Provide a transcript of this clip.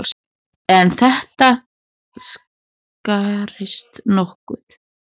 En þetta skarist nokkuð.